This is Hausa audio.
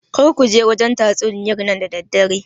Kar kuje wajen tatsuniyar nan da daddare